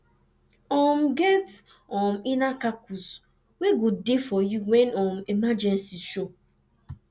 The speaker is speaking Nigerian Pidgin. um get um inner kakus wey go de for you when um emergency show